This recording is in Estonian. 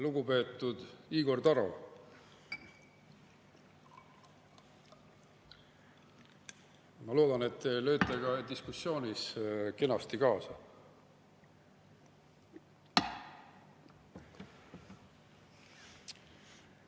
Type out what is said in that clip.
Lugupeetud Igor Taro, ma loodan, et te lööte ka diskussioonis kenasti kaasa.